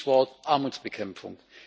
Stichwort Armutsbekämpfung.